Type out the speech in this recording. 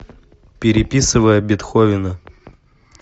переписывая бетховена